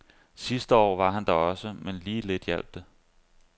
Sidste år var han der også, men lige lidt hjalp det.